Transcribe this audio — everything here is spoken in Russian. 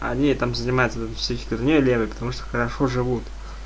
они там занимаются вигнёй левой потому что хорошо живут